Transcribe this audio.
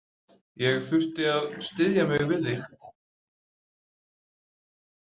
Ég þurfti að styðja mig við þig.